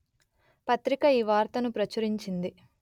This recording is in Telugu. పత్రిక ఈ వార్తను ప్రచురించింది